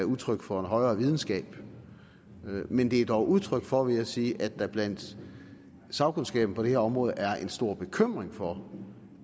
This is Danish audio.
udtryk for en højere videnskab men de er dog udtryk for vil jeg sige at der blandt sagkundskaben på det her område er stor bekymring for